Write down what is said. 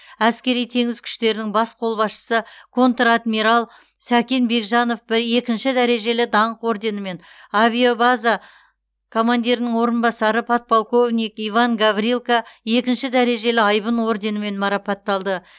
әскери теңіз күштерінің бас қолбасшысы контр адмирал сәкен бекжанов екінші дәрежелі даңқ орденімен авиабаза командирінің орынбасары подполковник иван гаврилко екінші дәрежелі айбын орденімен марапатталды